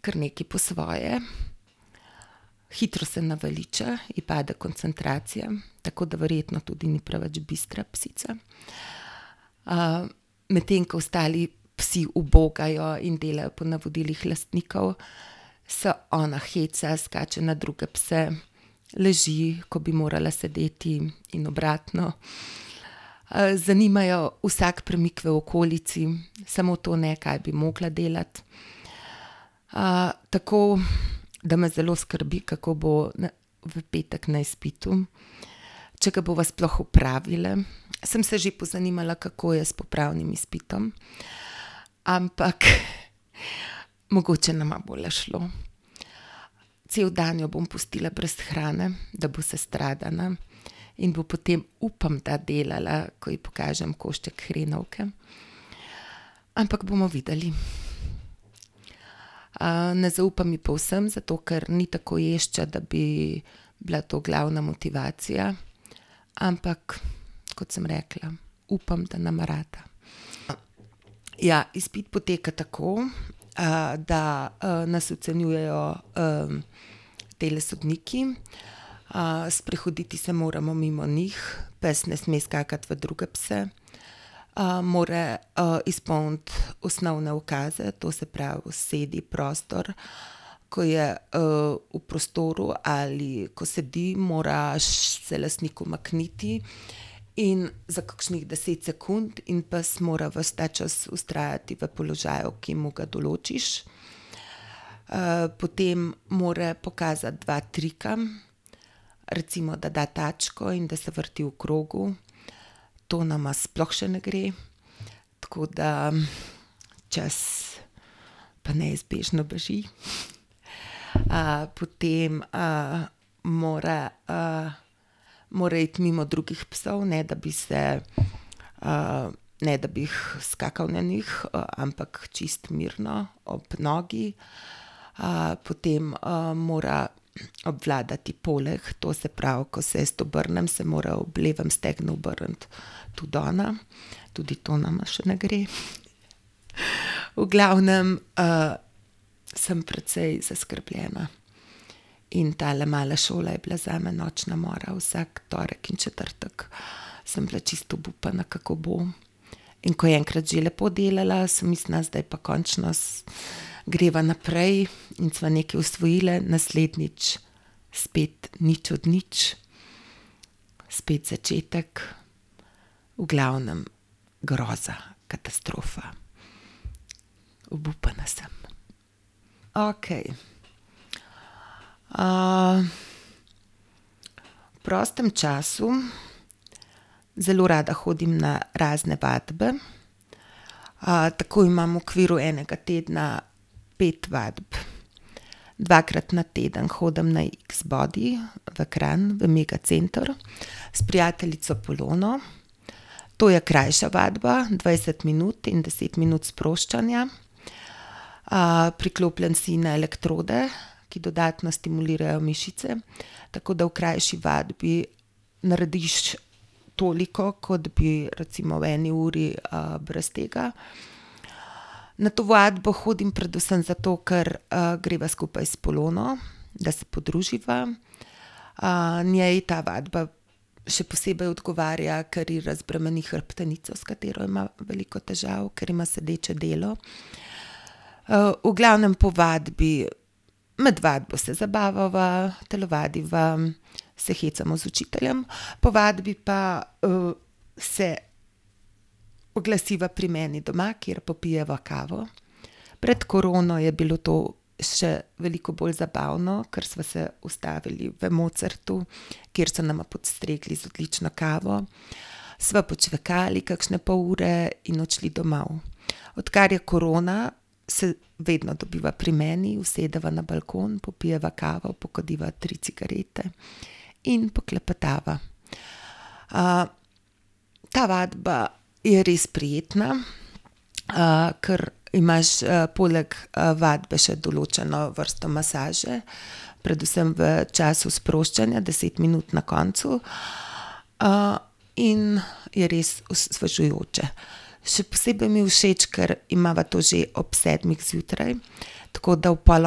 Kar nekaj po svoje, hitro se naveliča, ji pade koncentracija, tako da verjetno tudi ni preveč bistra psica. medtem ko ostali psi ubogajo in delajo po navodilih lastnikov, se ona heca, skače na druge pse, leži, ko bi morala sedeti, in obratno. zanima jo vsak premik v okolici, samo to ne, kaj bi mogla delati. tako, da me zelo skrbi, kako bo v petek na izpitu. Če ga bova sploh opravile. Sem se že pozanimala, kako je s popravnim izpitom. Ampak mogoče nama bo le šlo. Cel dan jo bom pustila brez hrane, da bo sestradana. In bo potem, upam, da delala, ko je pokažem košček hrenovke, ampak bomo videli. ne zaupam ji povsem, zato ker ni tako ješča, da bi bila to glavna motivacija, ampak kot sem rekla, upam, da nama rata. Ja, izpit poteka tako, da, nas ocenjujejo, tile sodniki, sprehoditi se moramo mimo njih. Pes ne sme skakati v druge pse. more, izpolniti osnovne ukaze, to se pravi sedi, prostor. Ko je, v prostoru ali ko sedi, mora se lastnik umakniti in za kakšnih deset sekund in pes mora ves ta čas vztrajati v položaju, ki mu ga določiš. potem mora pokazati dva trika. Recimo, da da tačko in da se vrti v krogu. To nama sploh še ne gre. Tako da, čas pa neizbežno beži. potem, mora, mora iti mimo drugih psov, ne da bi se, ne da bi jih, skakal na njih, ampak čisto mirno, ob nogi. potem, mora obvladati poleg, to se pravi, ko se jaz obrnem, se mora ob levem stegnu obrniti tudi ona. Tudi to nama še ne gre. V glavnem, sem precej zaskrbljena. In tale mala šola je bila zame nočna mora vsak torek in četrtek. Sem bila čisto obupana, kako bo. In ko je enkrat že lepo delala, sem mislila, zdaj pa končno greva naprej in sva nekaj osvojili, naslednjič spet nič od nič. Spet začetek, v glavnem groza, katastrofa. Obupana sem. Okej, v prostem času zelo rada hodim na razne vadbe. tako imam v okviru enega tedna pet vadb. Dvakrat na teden hodim na iks bodi v Kranj v Mega center s prijateljico Polono. To je krajša vadba, dvajset minut in deset minut sproščanja. priklopljen si na elektrode, ki dodatno stimulirajo mišice, tako da v krajši vadbi, narediš toliko, kot bi recimo v eni uri, brez tega. Na to vadbo hodim predvsem zato, ker greva skupaj s Polono, da se podruživa. njej ta vadba še posebej odgovarja, ker je razbremeni hrbtenico, s katero ima veliko težav, ker ima sedeče delo. v glavnem po vadbi, med vadbo se zabavava, telovadiva, se hecamo z učiteljem, po vadbi pa, se oglasiva pri meni doma, kjer popijeva kavo. Pred korono je bilo to še veliko bolj zabavno, kar sva se ustavili v Mozartu, kjer so nama postregli z odlično kavo. Sva počvekali kakšne pol ure in odšli domov. Odkar je korona, se vedno dobiva pri meni, usedeva na balkon, popijeva kavo, pokadiva tri cigarete in poklepetava. ta vadba je res prijetna. ker imaš, poleg, vadbe še določeno vrsto masaže. Predvsem v času sproščanja, deset minut na koncu. in je res osvežujoče. Še posebej mi je všeč, ker imava to že ob pol sedmih zjutraj, tako da ob pol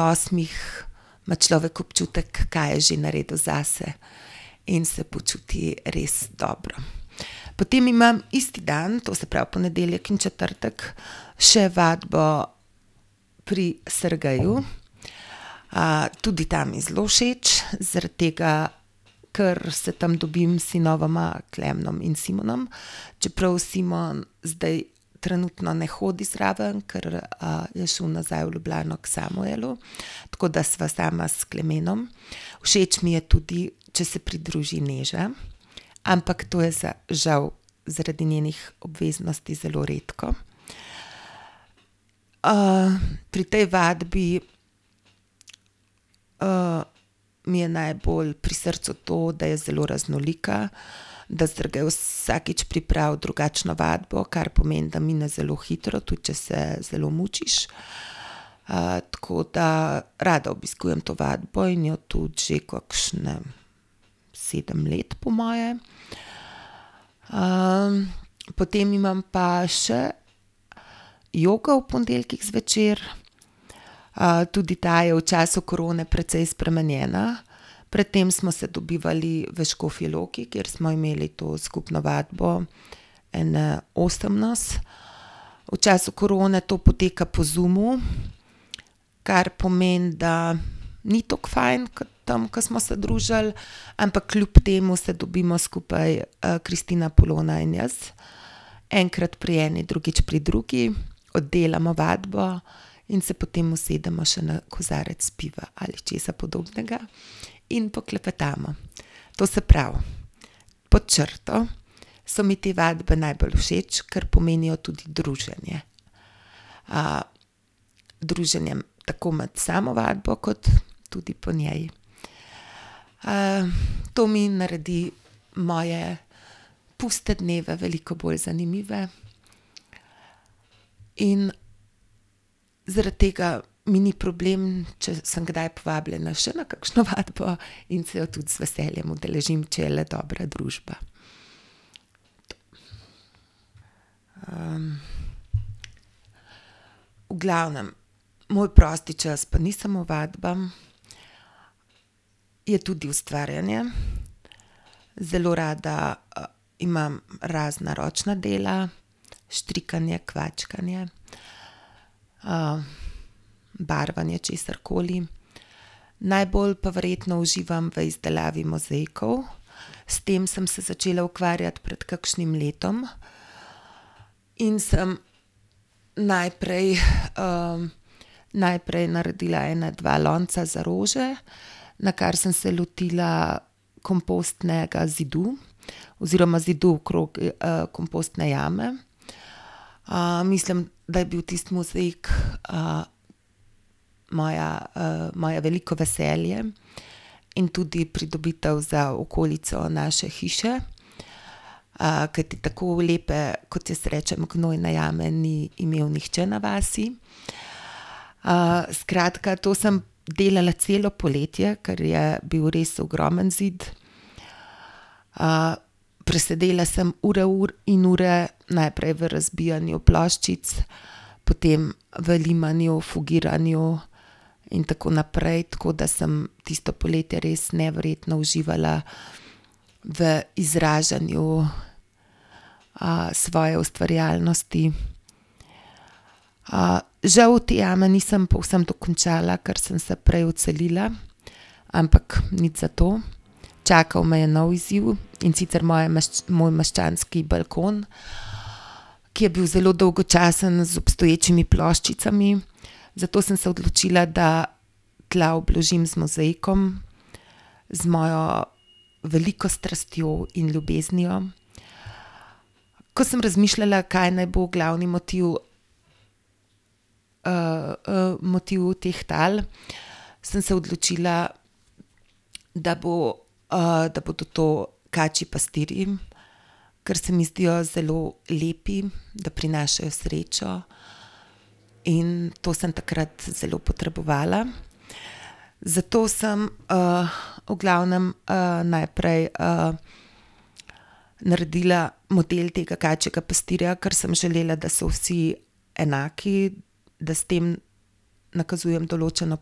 osmih ima človek občutek, kaj je že naredil zase. In se počuti res dobro. Potem imam isti dan, to se pravi ponedeljek in četrtek, še vadbo pri Sergeju. tudi ta mi je zelo všeč, zaradi tega, kar se tam dobim s sinovoma Klemnom in Simonom, čeprav Simon zdaj trenutno ne hodi zraven, ker, je šel nazaj v Ljubljano k Samuelu. Tako da sva sama s Klemenom. Všeč mi je tudi, če se pridruži Neža. Ampak to je za žal zaradi njenih obveznosti zelo redko. pri tej vadbi, mi je najbolj pri srcu to, da je zelo raznolika, da Sergej vsakič pripravi drugačno vadbo. Kar pomeni, da mine zelo hitro, tudi če se zelo mučiš. tako da rada obiskujem to vadbo in jo tudi že kakšne sedem let po moje. potem imam pa še jogo ob ponedeljkih zvečer, tudi ta je v času korone precej spremenjena. Pred tem smo se dobivali v Škofji Loki, kjer smo imeli to skupno vadbo, ene osem nas. V času korone to poteka po Zoomu. Kar pomeni, da ni tako fajn, kot tam, ke smo se družili. Ampak kljub temu se dobimo skupaj, Kristina, Polona in jaz. Enkrat pri eni, drugič pri drugi. Oddelamo vadbo in se potem usedemo še na kozarec piva ali česa podobnega in poklepetamo. To se pravi, pod črto so mi te vadbe najbolj všeč, ker pomenijo tudi druženje. druženje tako med samo vadbo, kot tudi po njej. to mi naredi moje puste dneve veliko bolj zanimive in zaradi tega mi ni problem, če sem kdaj povabljena še na kakšno vadbo in se jo tudi z veseljem udeležim, če je le dobra družba. v glavnem, moj prosti čas pa ni samo vadba, je tudi ustvarjanje. Zelo rada, imam razna ročna dela. Štrikanje, kvačkanje. barvanje česarkoli. Najbolj pa verjetno uživam v izdelavi mozaikov. S tem sem se začela ukvarjati pred kakšnim letom. In sem najprej, najprej naredila ene dva lonca za rože, nakar sem se lotila kompostnega zidu, oziroma zidu okrog, kompostne jame. mislim, da je bil tisti mozaik moja, moje veliko veselje in tudi pridobitev za okolico naše hiše. kajti tako lepe, kot jaz rečem, gnojne jame, ni imel nihče na vasi. skratka, to sem delala celo poletje, ker je bil res ogromen zid, presedela sem ure ur in ure najprej v razbijanju ploščic, potem v limanju, fugiranju in tako naprej, tako da sem tisto poletje res neverjetno uživala v izražanju, svoje ustvarjalnosti. žal te jame nisem povsem dokončala, ker sem se prej odselila, ampak nič zato. Čakal me je nov izziv, in sicer moje moj meščanski balkon, ki je bil zelo dolgo časa na z obstoječimi ploščicami, zato sem se odločila, da tla obložim z mozaikom. Z mojo veliko strastjo in ljubeznijo. Ko sem razmišljala, kaj naj bo glavni motiv, motiv teh tal, sem se odločila, da bo, da bodo to kačji pastirji, ker se mi zdijo zelo lepi, da prinašajo srečo in to sem takrat zelo potrebovala. Zato sem, v glavnem, najprej, naredila model tega kačjega pastirja, ker sem želela, da so vsi enaki, da s tem nakazujem določno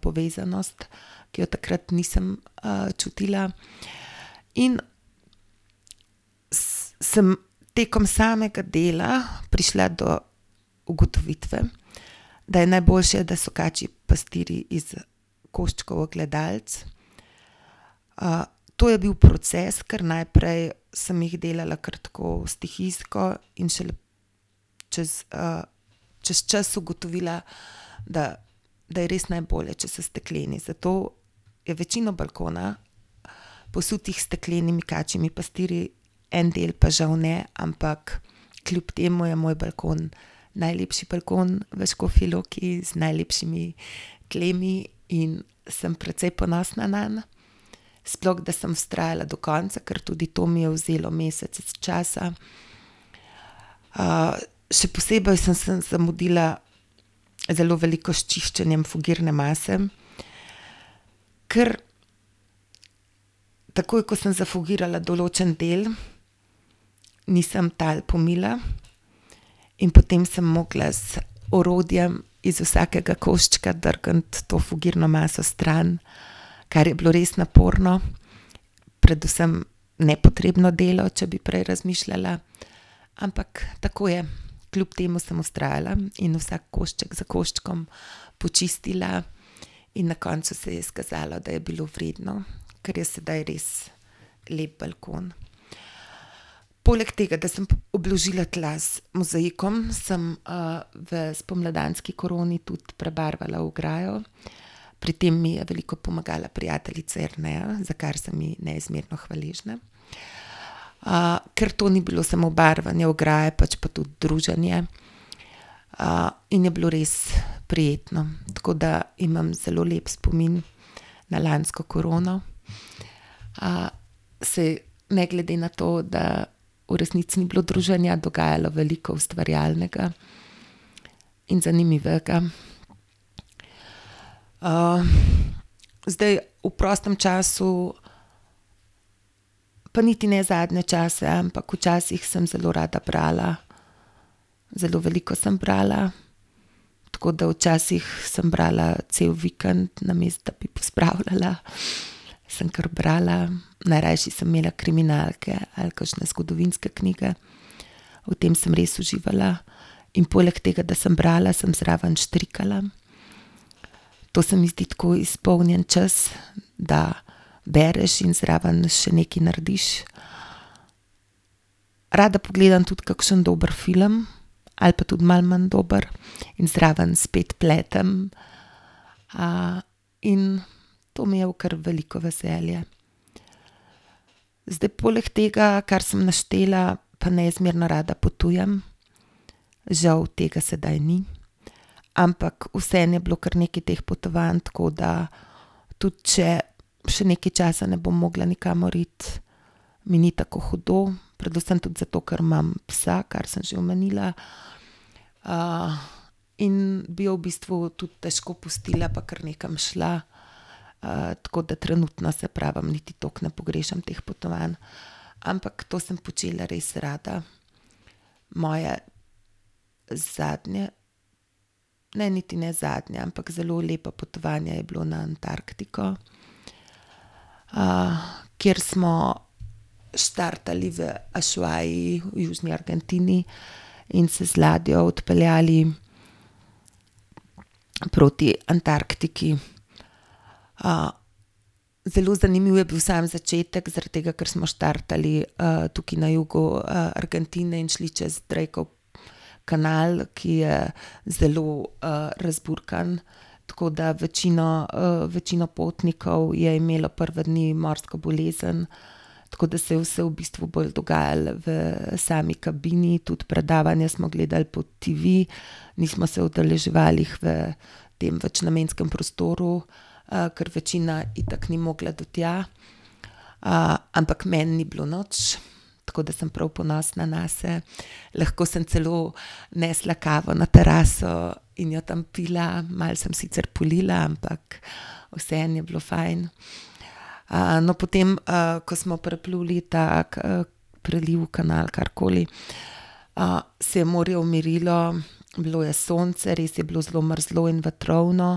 povezanost, ki jo takrat nisem, čutila in sem tekom samega dela prišla do ugotovitve, da je najboljše, da so kačji pastirji iz, koščkov ogledalc. to je bil proces, kar najprej sem jih delala kar tako stihijsko in šele čez, čez čas ugotovila, da, da je res najbolje, če so stekleni. Zato je večina balkona posutega s steklenimi kačjimi pastirji, en del pa žal ne, ampak kljub temu je moj balkon najlepši balkon v Škofji Loki z najlepšimi tlemi in sem precej ponosna nanj. Sploh da sem vztrajala do konca, ker tudi to mi je vzelo mesece časa. še posebej sem se zamudila zelo veliko s čiščenjem fugirne mase, ker takoj ko sem zafugirala določen del, nisem tal pomila in potem sem mogla z orodjem iz vsakega koščka drgniti to fugirno maso stran, kar je bilo res naporno, predvsem nepotrebno delo, če bi prej razmišljala. Ampak tako je, kljub temu sem vztrajala in vsak košček za koščkom počistila, in na koncu se je izkazalo, da je bilo vredno, ker je sedaj res lep balkon. Poleg tega, da sem obložila tla z mozaikom, sem, v spomladanski koroni tudi prebarvala ograjo. Pri tem mi je veliko pomagala prijateljica Jerneja, za kar sem ji neizmerno hvaležna. ker to ni bilo samo barvanje ograje pač pa tudi druženje, in je bilo res prijetno. Tako da imam zelo lep spomin na lansko korono, Saj ne glede na to, da v resnici ni bilo druženja, dogajalo veliko ustvarjalnega in zanimivega. zdaj v prostem času pa niti ne zadnje čase, ampak v časih sem zelo rada brala, zelo veliko sem brala, tako da včasih sem brala cel vikend, namesto da bi pospravljala. Sem kar brala. Najrajši sem imela kriminalke ali kakšne zgodovinske knjige. V tem sem res uživala. In poleg tega, da sem brala, sem zraven štrikala to se mi zdi tako izpolnjen čas, da bereš in zraven še nekaj narediš. Rada pogledam tudi kakšno dober film ali pa tudi malo manj dober in zraven spet pletem. in to mi je v kar veliko veselje. Zdaj poleg tega, kar sem naštela, pa neizmerno rada potujem. Žal tega sedaj ni, ampak vseeno je bilo kar nekaj teh potovanj, tako da tudi če še nekaj časa ne bom mogla nikamor iti, mi ni tako hudo, predvsem tudi zato, ker imam psa, kar sem že omenila. in bi jo v bistvu tudi težko pustila pa kar nekam šla. tako da trenutno, saj pravim, niti toliko ne pogrešam teh potovanj. Ampak to sem počela res rada. Moje zadnje, ne niti ne zadnje, ampak zelo lepo potovanje je bilo na Antarktiko, kjer smo štartali v Ushuaii v južni Argentini in se z ladjo odpeljali proti Antarktiki. zelo zanimiv je bil sam začetek, zaradi tega, ker smo štartali, tukaj na jugu, Argentine in šli čez Drakov kanal, ki je zelo, razburkan, tako da večino, večino potnikov je imelo prve dni, morsko bolezen. Tako da se je vse v bistvu bolj dogajalo v sami kabini tudi predavanja smo gledali po TV. Nismo se udeleževali jih v tem večnamenskem prostoru, ker večina itak ni mogla do tja, ampak meni ni bilo nič. Tako da sem prav ponosna nase, lahko sem celo nesla kavo na teraso in jo tam pila. Malo sem sicer polila, ampak vseeno je bilo fajn. no, potem, ko smo prepluli tako, preliv, kanal, karkoli, se je morje umirilo, bilo je sonce, res je bilo zelo mrzlo in vetrovno,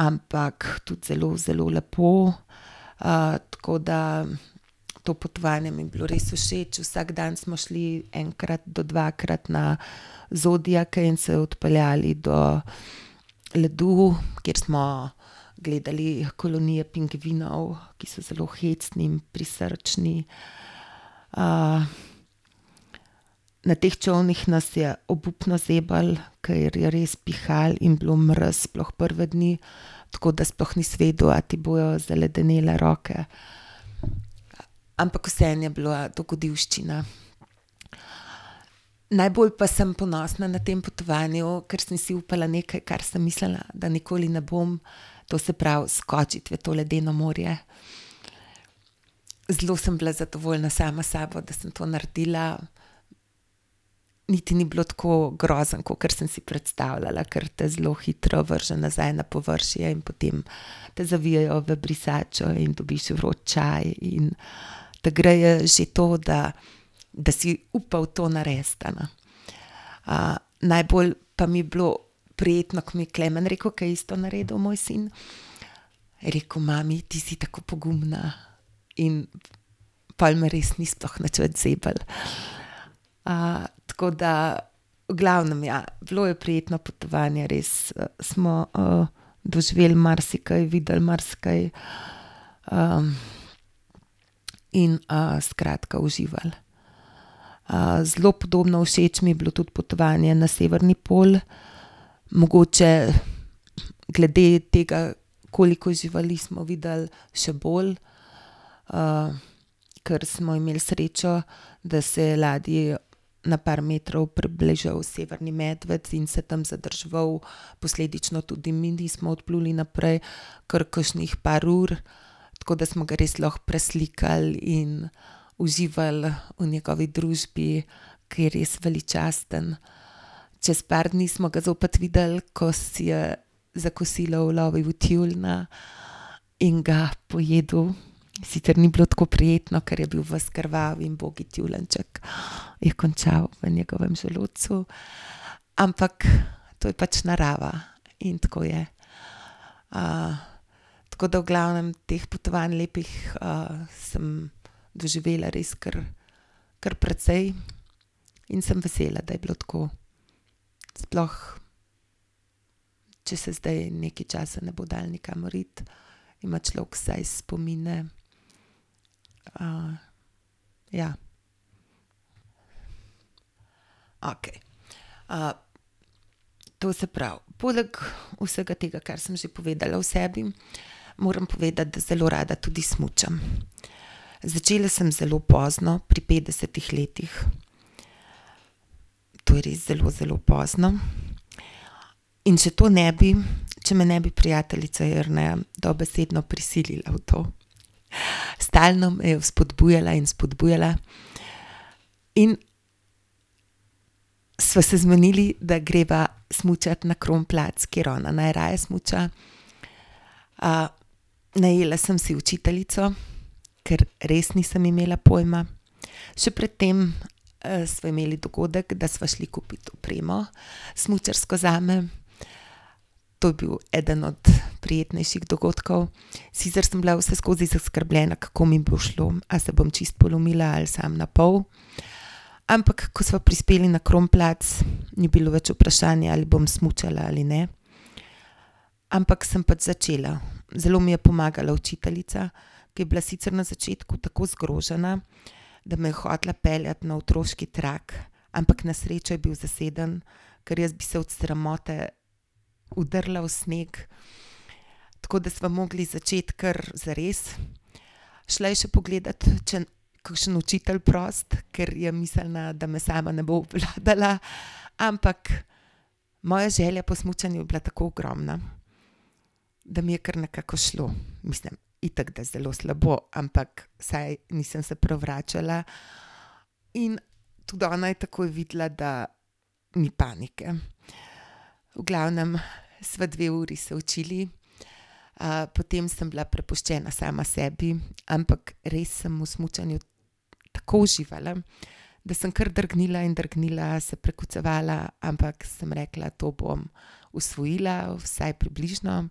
ampak tudi zelo, zelo lepo. tako da to potovanje mi je bilo res všeč, vsak dan smo šli enkrat do dvakrat na zodiake in se odpeljali do ledu, kjer smo gledali kolonije pingvinov, ki so zelo hecni in prisrčni. na teh čolnih nas je obupno zeblo, ker je res pihalo in bilo mraz sploh prve dni. Tako da sploh nisi vedel, ali ti bojo zaledenele roke. Ampak vseeno je bilo dogodivščina. Najbolj pa sem ponosna na tem potovanju, ker sem si upala nekaj, kar sem mislila, da nikoli ne bom, to se pravi skočiti v to ledeno morje. Zelo sem bila zadovoljna sama s sabo, da sem to naredila, niti ni bilo tako grozno, kakor sem si predstavljala, ker te zelo hitro vrže nazaj na površje in potem te zavijejo v brisačo in dobiš vroč čaj in te greje že to, da da si upal to narediti, a ne. najbolj pa mi je bilo prijetno, ko mi je Klemen rekel, ke je isto naredil moj sin, je rekel: "Mami, ti si tako pogumna." In pol me res ni sploh nič več zeblo. tako da v glavnem, ja, bilo je prijetno potovanje, res smo, doživeli marsikaj, videli marsikaj, in, skratka uživali. zelo podobno všeč mi je bilo tudi potovanje na severni pol. Mogoče glede tega, koliko živali smo videli, še bolj. ker smo imeli srečo, da se je ladji na par metrov približal severni medved in se tam zadrževal, posledično tudi mi nismo odpluli naprej kar kakšnih par ur. Tako da smo ga res lahko preslikali in uživali v njegovi družbi, ke je res veličasten. Čez par dni smo ga zopet videli, ko si je za kosilo ulovil tjulnja in ga pojedel. Sicer ni bilo tako prijetno, ker je bil ves krvav, in ubogi tjulenjček je končal v njegovem želodcu, ampak to je pač narava in tako je. tako da v glavnem teh potovanj lepih, sem doživela res kar, kar precej. In sem vesela, da je bilo tako. Sploh. če se zdaj nekaj časa ne bo dalo nikamor iti. Ima človek vsaj spomine. ja. Okej, to se pravi poleg vsega tega, kar sem že povedala o sebi, moram povedati, da zelo rada tudi smučam. Začela sem zelo pozno, pri petdesetih letih. To je res zelo, zelo pozno. In še to ne bi, če me ne bi prijateljica Jerneja dobesedno prisilila v to. Stalno me je vzpodbujala in spodbujala in sva se zmenili, da greva smučat na Kronplatz, kjer ona najraje smuča. najela sem si učiteljico, ker res nisem imela pojma. Še pred tem, sva imeli dogodek, da sva šli kupit opremo, smučarsko zame. To je bil eden od prijetnejših dogodkov. Sicer sem bila vseskozi zaskrbljena, kako mi bo šlo, a se bom čisto polomila ali samo napol. Ampak ko sva prispeli na Kronplatz, ni bilo več vprašanja, ali bom smučala ali ne. Ampak sem pač začela. Zelo mi je pomagala učiteljica, ki je bila sicer na začetku tako zgrožena, da me je hotela peljati na otroški trak, ampak na srečo je bil zaseden, ker jaz bi se od sramote udrla v sneg, tako da sva mogli začeti kar zares. Šla je še pogledat, če kakšen učitelj prost, ker je mislila, da me sama ne bo obvladala, ampak moja želja po smučanju je bila tako ogromna, da mi je kar nekako šlo, mislim itak, da zelo slabo, ampak vsaj nisem se prevračala in tudi ona je takoj videla, da ni panike. V glavnem sva dve uri se učili. potem sem bila prepuščena sama sebi, ampak res sem v smučanju tako uživala, da sem kar drgnila in drgnila, se prekucevala, ampak sem rekla: "To bom usvojila. Vsaj približno."